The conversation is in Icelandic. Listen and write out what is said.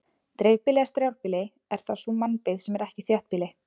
dreifbýli eða strjálbýli er þá sú mannabyggð sem ekki er þéttbýli